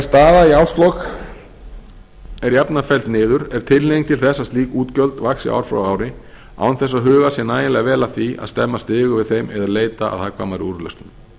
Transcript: staða í árslok er jafnan felld niður er tilhneiging til þess að slík útgjöld vaxi ár frá ári án þess að hugað sé nægilega vel að því að að stemma stigu við þeim eða leita að hagkvæmari úrlausnum